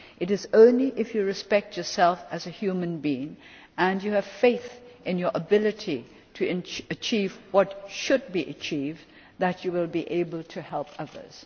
It is only if you respect yourself as a human being and have faith in your ability to achieve what should be achieved that you will be able to help others.